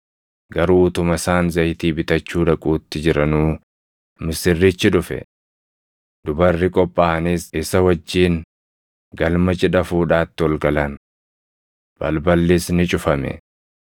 “Garuu utuma isaan zayitii bitachuu dhaquutti jiranuu misirrichi dhufe. Dubarri qophaaʼanis isa wajjin galma cidha fuudhaatti ol galan. Balballis ni cufame.